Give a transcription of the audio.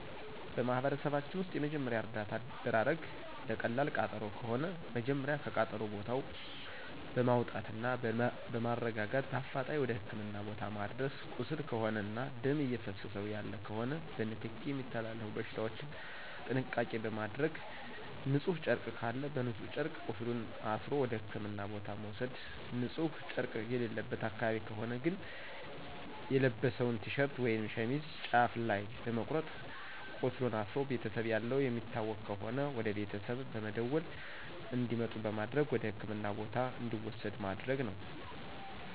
በማህበረሰባችን ውስጥ የመጀመሪያ እርዳታ አደራረግ ለቀላል ቃጠሎ ከሆነ መጀመሪያ ከቃጠሎ ቦታው በማውጣትና በማረጋጋት በአፋጣኝ ወደ ህክምና ቦታ ማድረስ ቁስል ከሆነና ደም እየፈሰሰው ያለ ከሆነ በንክኪ የሚተላለፉ በሽታዎችን ጥንቃቄ በማድረግ ንጹህ ጨርቅ ካለ በንጹህ ጨርቅ ቁስሉን አስሮ ወደ ህክምና ቦታ መውሰድ ንጺህ ጨረቅ የሌለበት አካባቢ ከሆነ ግን የለበሰውን ቲሸርት ወይም ሸሚዝ ጫፍ ላይ በመቁረጥ ቃስሉን አስሮ ቤተሰብ ያለው የሚታወቅ ከሆነ ወደቤተሰብ በመደወል እንዲመጡ በማድረግ ወደህክምና ቦታ እንዲወሰድ ማድረግ ነው።